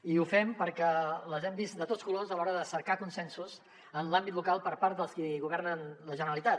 i ho fem perquè les hem vist de tots colors a l’hora de cercar consensos en l’àmbit local per part dels qui governen la generalitat